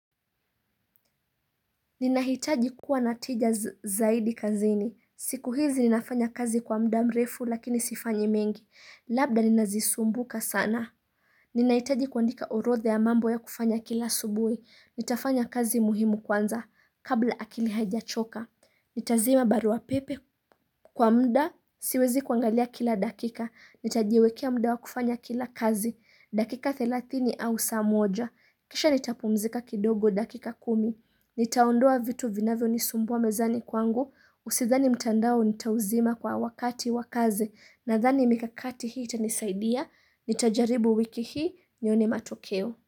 Ninahitaji kuwa na wateja zaidi kazini. Siku hizi ninafanya kazi kwa muda mrefu lakini sifanyi mengi. Labda ninazisumbuka sana. Ninahitaji kuandika orodha ya mambo ya kufanya kila asubuhi Nitafanya kazi muhimu kwanza kabla akili haijachoka. Nitazima barua pepe kwa muda siwezi kuangalia kila dakika. Nitajiwekea muda wa kufanya kila kazi. Dakika thelathini au saa moja. Kisha nitapumzika kidogo dakika kumi. Nitaondoa vitu vinavyo nisumbua mezani kwangu. Sidhani mtandao nitauzima kwa wakati wa kazi. Nadhani mikakati hii itanisaidia. Nitajaribu wiki hii nione matokeo.